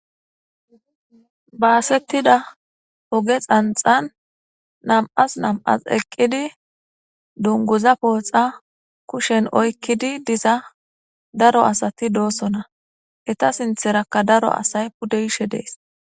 baasettida oge xanxan nam7as nam7as eqqidi dunguza pooxa kushen oykkidi diza daro asati doossona eta sintherakka daro asay pudde yishe dees